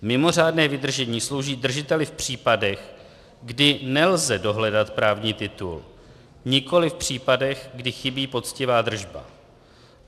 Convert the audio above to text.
Mimořádné vydržení slouží držiteli v případech, kdy nelze dohledat právní titul, nikoliv v případech, kdy chybí poctivá držba.